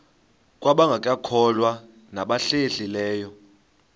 kwabangekakholwa nabahlehli leyo